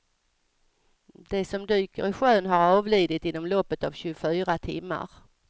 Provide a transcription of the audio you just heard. De som dyker i sjön har avlidit inom loppet av tjugofyra timmar.